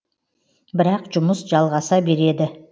бірақ жұмыс жалғаса береді